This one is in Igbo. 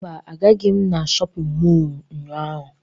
Mba, agaghị m na shọpịn mọọ ụnyaahụ